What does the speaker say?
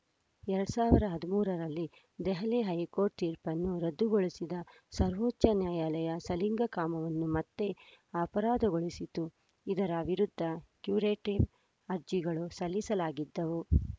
ಎರಡ್ ಸಾವಿರದ ಹದಿಮೂರರಲ್ಲಿ ದೆಹಲಿ ಹೈಕೋರ್ಟ್‌ ತೀರ್ಪನ್ನು ರದ್ದುಗೊಳಿಸಿದ್ದ ಸರ್ವೋಚ್ಚ ನ್ಯಾಯಾಲಯ ಸಲಿಂಗಕಾಮವನ್ನು ಮತ್ತೆ ಅಪರಾಧಗೊಳಿಸಿತ್ತು ಇದರ ವಿರುದ್ಧ ಕ್ಯುರೆಟಿವ್‌ ಅರ್ಜಿಗಳು ಸಲ್ಲಿಸಲಾಗಿದ್ದವು